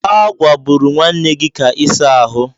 A gwaburu nwanne gị ka ịsa ahụ.